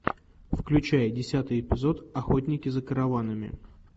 включай десятый эпизод охотники за караванами